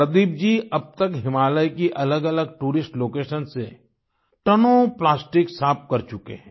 प्रदीप जी अब तक हिमालय की अलगअलग टूरिस्ट लोकेशंस से टनों प्लास्टिक साफ कर चुके हैं